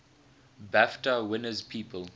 bafta winners people